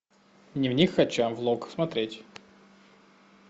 дневник хача влог смотреть